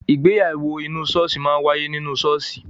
Ìgbéyàwó inú ṣọ́ọ̀ṣì máa wáyé nínú ṣọ́ọ̀ṣì.